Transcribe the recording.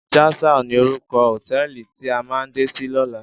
Jasal ni órúkò hótèlí ti á má dé si lòlá